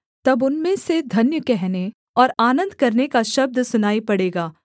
तब उनमें से धन्य कहने और आनन्द करने का शब्द सुनाई पड़ेगा